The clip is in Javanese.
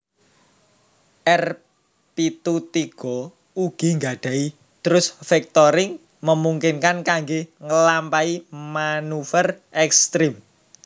R pitu tiga ugi nggadahi thrust vectoring memungkinkan kangge ngelampahi maneuver ekstrem